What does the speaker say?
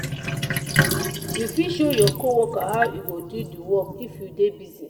you fit show your co-worker how e go do di work if you dey busy.